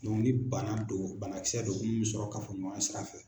Do ni bana don bana kisɛ don min me sɔrɔ kafoɲɔgɔnya sira fɛ